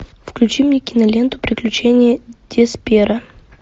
включи мне киноленту приключения десперо